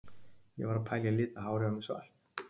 Ég var að pæla í að lita hárið á mér svart?